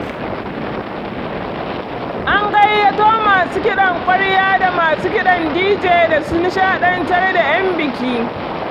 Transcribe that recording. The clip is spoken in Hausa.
An gayyato masu kaɗan kwarya da masu kiɗan dije da su nishaɗantar da ƴan biki.